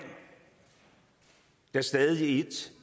der stadig